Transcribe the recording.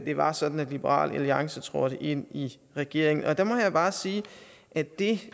det var sådan at liberal alliance trådte ind i regeringen og der må jeg bare sige at det